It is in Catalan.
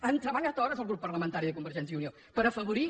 han treballat hores el grup parlamentari de convergència i unió per afavorir